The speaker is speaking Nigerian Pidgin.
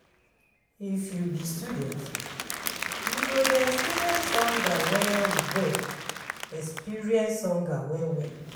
If you be student, you go dey experience hunger well-well. experience hunger well-well.